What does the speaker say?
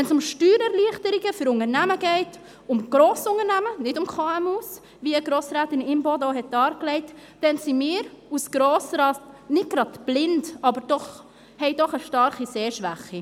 Wenn es um Steuererleichterungen für Unternehmen geht, um Grossunternehmen, nicht um KMU, wie Grossrätin Imboden auch dargelegt hat, dann sind wir als Grosser Rat nicht gerade blind, aber haben doch eine starke Sehschwäche.